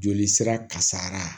Joli sira kasara